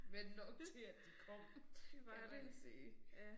Men nok til at de kom kan man sige